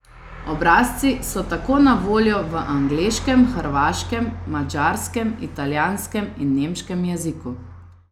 Obrazci so tako na voljo v angleškem, hrvaškem, madžarskem, italijanskem in nemškem jeziku.